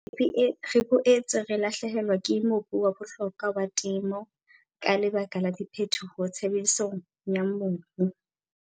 Re boetse re lahlehelwa ke mobu wa bohlokwa wa temo ka lebaka la diphetoho tshebedisong ya mobu.